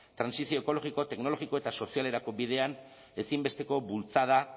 trantsizio ekologiko teknologiko eta sozialerako bidean ezinbesteko bultzada